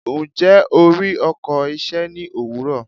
Ǹjẹ́, o rí ọkọ̀ iṣẹ́ ní òwúrọ̀?